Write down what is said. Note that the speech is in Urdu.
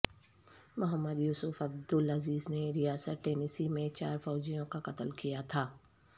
محمد یوسف عبدالعزیز نے ریاست ٹینیسی میں چار فوجیوں کا قتل کیا تھا